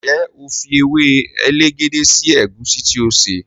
njé o fí ewe elegede sí egusi tí o ṣe?